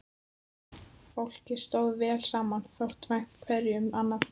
Fólkið stóð vel saman, þótti vænt hverju um annað.